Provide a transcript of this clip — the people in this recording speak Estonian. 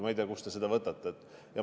Ma ei tea, kust te seda võtate.